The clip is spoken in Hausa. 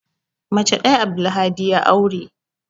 Mace ɗaya Abdulhadi ya aure.